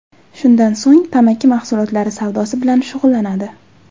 Shundan so‘ng tamaki mahsulotlari savdosi bilan shug‘ullanadi.